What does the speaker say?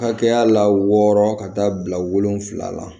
Hakɛya la wɔɔrɔ ka taa bila wolonfila la